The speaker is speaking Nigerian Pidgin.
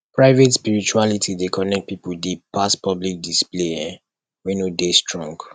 private spirituality dey connect pipo deep pass public display um wey no dey strong